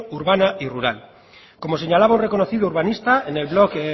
urbana y rural como señalaba un reconocido urbanista en el blog